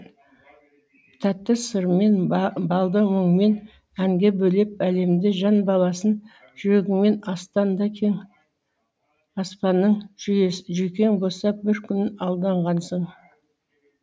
тәтті сырмен балды мұңмен әнге бөлеп әлемді жан баласын жүргіңмен астанда кең аспанның жүйкең босап бір күн алданғансың